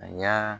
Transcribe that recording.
A y'a